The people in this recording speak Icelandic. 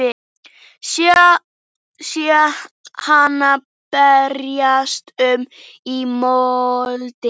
Sé hana berjast um í moldinni.